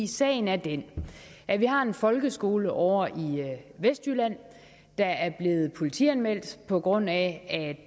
sagen er den at vi har en folkeskole ovre i vestjylland der er blevet politianmeldt på grund af at